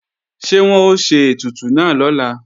Ṣé wọ́n ó ṣe ètùtù náà lọ́la